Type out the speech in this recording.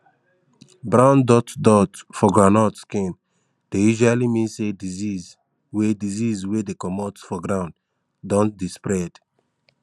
brown dot dot for groundnut skin dey usually mean say disease wey disease wey dey comot for ground don dey spread